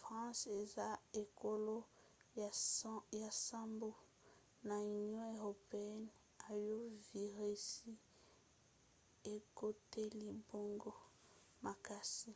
france eza ekolo ya nsambo na union européenne oyo virisi ekoteli bango makasi;